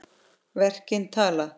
Verkin tala.